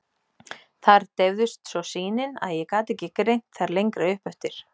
Þar deyfðist svo sýnin, að ég gat ekki greint þær lengra upp eftir.